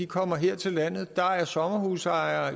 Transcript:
kommer her til landet der er sommerhusejere